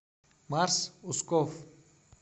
марс усков